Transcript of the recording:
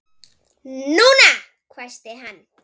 NÚNA! hvæsti hann.